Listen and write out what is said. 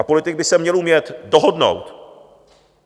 A politik by se měl umět dohodnout.